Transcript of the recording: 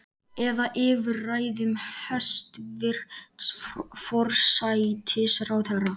Eða yfir ræðum hæstvirts forsætisráðherra?